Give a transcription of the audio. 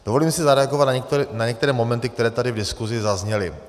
Dovolím si zareagovat na některé momenty, které tady v diskuzi zazněly.